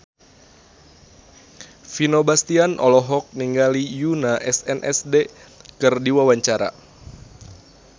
Vino Bastian olohok ningali Yoona SNSD keur diwawancara